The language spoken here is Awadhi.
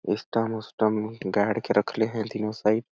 इसटांग उस्टांग में गाड़ के रखले है तीनों साईड --